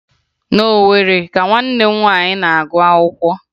Na Owere ka nwanne m nwaanyị na-agụ akwụkwọ